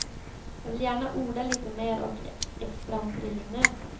Jag vill gärna orda lite mer och extra om trillingnöten.